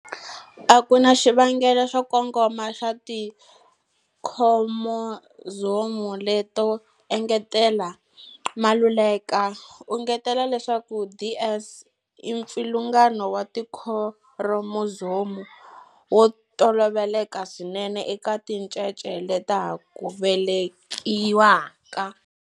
A ku na xivangelo xo kongoma xa tikhiromozomu leto engetela. Maluleka u engetela leswaku DS i mpfilungano wa tikhiromozomu wo toloveleka swinene eka tincece leta ha ku velekiwaka.